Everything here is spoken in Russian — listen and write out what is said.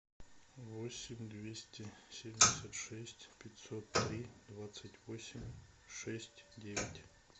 восемь двести семьдесят шесть пятьсот три двадцать восемь шесть девять